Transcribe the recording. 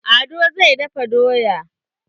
Ado zai dafa doya.